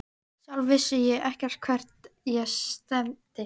Sjálf vissi ég ekkert hvert ég stefndi.